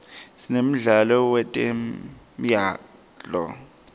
sinemdlalo wetemyalto